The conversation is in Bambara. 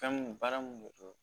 Fɛn mun baara mun de don